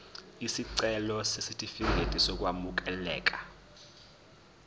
isicelo sesitifikedi sokwamukeleka